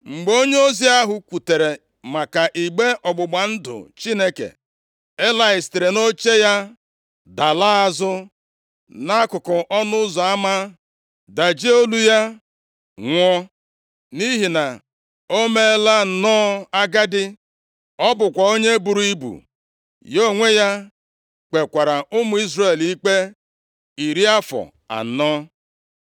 Mgbe onyeozi ahụ kwutere maka igbe ọgbụgba ndụ Chineke. Elayị sitere nʼoche ya dalaa azụ nʼakụkụ ọnụ ụzọ ama, dajie olu ya, nwụọ! Nʼihi na o meela nnọọ agadi. Ọ bụkwa onye buru ibu. Ya onwe ya kpekwara + 4:18 Maọbụ, Duru ụmụ Izrel ụmụ Izrel ikpe iri afọ anọ.